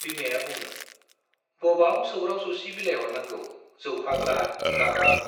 बिमाया बुङो, बबाव सौग्राव सौसि बिलाइहरनांगौ जौ फाग्ला, गाहाक